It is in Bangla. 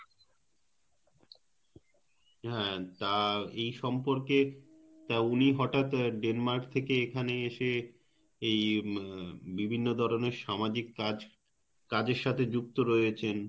হ্যাঁ তা এই সম্পর্কে তা উনি হঠাত Denmark থেকে এখানে এসে এই উম বিভিন্ন ধরনের সামাজিক কাজ~ কাজের সাথে যুক্ত রয়েছেন